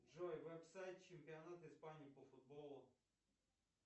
джой веб сайт чемпионата испании по футболу